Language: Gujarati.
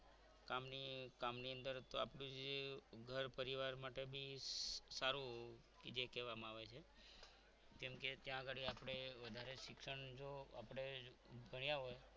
કામની કામની અંદર આપણે તો જે ઘર પરિવાર માટે બી સારું જે કહેવામાં આવે છે કેમકે ત્યાં આગળ આપણે વધારે શિક્ષણ જો આપણે ભણ્યા હોય